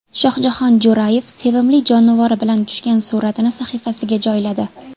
Shohjahon Jo‘rayev sevimli jonivori bilan tushgan suratini sahifasiga joyladi.